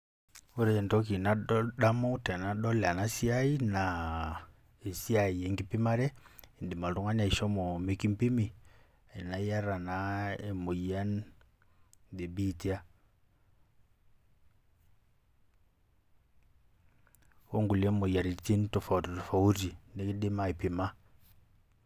Ore entoki nadamu tanadol enasiai na esiai enkipimare endim oltungani ashomo mekimpimabiitoa onkuilie moyiaritin